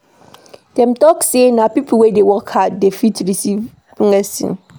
Dem tok sey na pipo wey dey work hard dey first receive blessing.